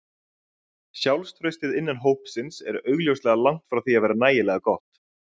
Sjálfstraustið innan hópsins er augljóslega langt frá því að vera nægilega gott.